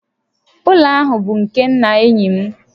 Ụlọ ahụ bụ nke nna enyi m